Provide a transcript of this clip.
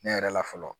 Ne yɛrɛ la fɔlɔ